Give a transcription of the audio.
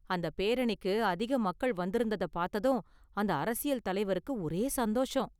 அந்த பேரணிக்கு அதிக மக்கள் வந்திருந்தத பார்த்ததும் அந்த அரசியல் தலைவருக்கு ஒரே சந்தோஷம்.